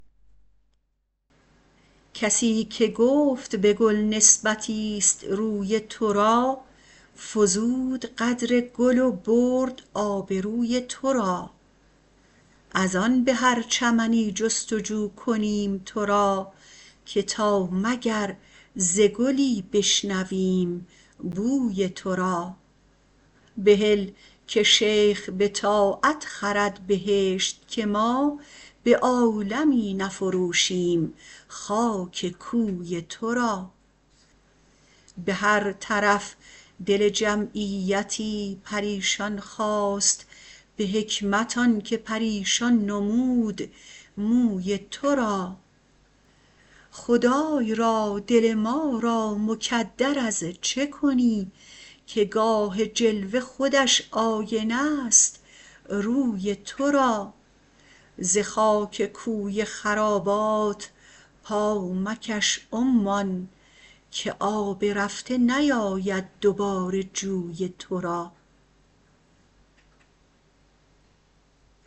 کسی که گفت به گل نسبتی است روی تو را فزود قدر گل و برد آبروی تو را از آن به هر چمنی جست وجو کنیم تو را که تا مگر ز گلی بشنویم بوی تو را بهل که شیخ به طاعت خرد بهشت که ما به عالمی نفروشیم خاک کوی تو را به هر طرف دل جمعیتی پریشان خواست به حکمت آن که پریشان نمود موی تو را خدای را دل ما را مکدر از چه کنی که گاه جلوه خودش آینه است روی تو را ز خاک کوی خرابات پا مکش عمان که آب رفته نیاید دوباره جوی تو را